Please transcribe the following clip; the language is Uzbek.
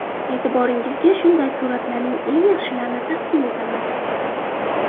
E’tiboringizga shunday suratlarning eng yaxshilarini taqdim etamiz.